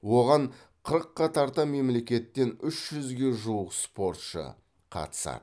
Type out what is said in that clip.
оған қырыққа тарта мемлекеттен үш жүзге жуық спортшы қатысады